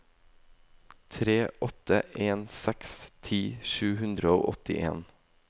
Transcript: tre åtte en seks ti sju hundre og åttien